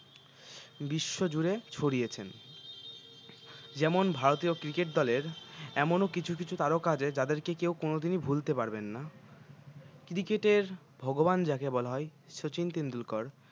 বিশ্বজুড়ে ছরিয়েছেন যেমন ভারতীয় cricket দলের এমনও কিছু কিছু তারকা আছে যাদেরকে কেউ কোনোদিনই ভুলতে পারবেন না cricket এর ভগবান যাকে বলা হয় শচীন টেন্ডুরকার